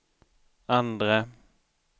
andre